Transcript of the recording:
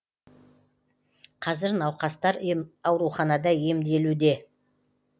қазір науқастар ауруханада емделуде